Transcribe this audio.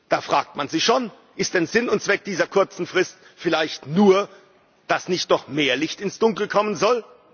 Da fragt man sich schon Ist denn Sinn und Zweck dieser kurzen Frist vielleicht nur, dass nicht noch mehr Licht ins Dunkel kommen soll?